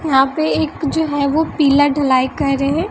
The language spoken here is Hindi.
यहां पे एक जो है वो पीला ढलाई कर रहे--